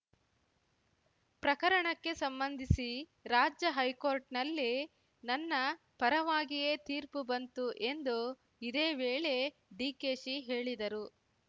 ಪ್ರಕರಣಕ್ಕೆ ಸಂಬಂಧಿಸಿ ರಾಜ್ಯ ಹೈಕೋರ್ಟ್‌ನಲ್ಲಿ ನನ್ನ ಪರವಾಗಿಯೇ ತೀರ್ಪು ಬಂತು ಎಂದು ಇದೇ ವೇಳೆ ಡಿಕೆಶಿ ಹೇಳಿದರು